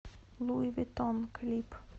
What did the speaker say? луи виттон клип